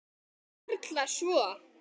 Varla svo.